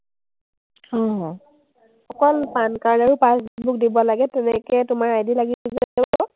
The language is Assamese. অকল PANcard আৰু passbook দিব লাগে, তেনেকেই তোমাৰ ID লাগিব।